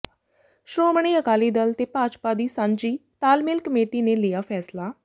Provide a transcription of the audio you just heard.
ਸ਼੍ਰੋਮਣੀ ਅਕਾਲੀ ਦਲ ਤੇ ਭਾਜਪਾ ਦੀ ਸਾਂਝੀ ਤਾਲਮੇਲ ਕਮੇਟੀ ਨੇ ਲਿਆ ਫੈਸਲਾ